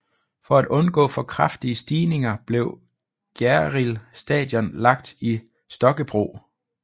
For at undgå for kraftige stigninger blev Gjerrild Station lagt i Stokkebro